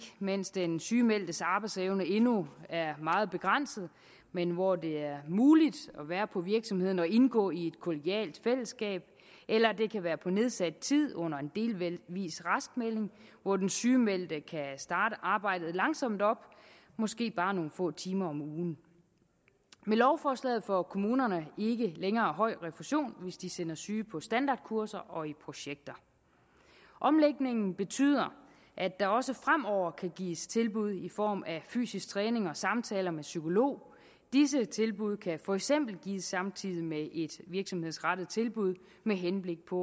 mens den sygemeldtes arbejdsevne endnu er meget begrænset men hvor det er muligt at være på virksomheden og indgå i et kollegialt fællesskab eller det kan være på nedsat tid under en delvis raskmelding hvor den sygemeldte kan starte arbejdet langsomt op måske bare med nogle få timer om ugen med lovforslaget får kommunerne ikke længere høj refusion hvis de sender syge på standardkurser og i projekter omlægningen betyder at der også fremover kan gives tilbud i form af fysisk træning og samtaler med psykolog disse tilbud kan for eksempel gives samtidig med et virksomhedsrettet tilbud med henblik på